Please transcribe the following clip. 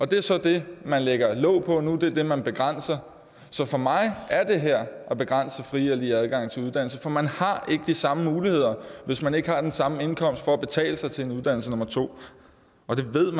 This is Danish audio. det er så det man lægger låg på nu det er det man begrænser så for mig er det her at begrænse den fri og lige adgang til uddannelse for man har ikke de samme muligheder hvis man ikke har den samme indkomst til at betale sig til en uddannelse nummer to og det ved